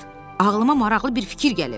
Piqlet, ağlıma maraqlı bir fikir gəlib.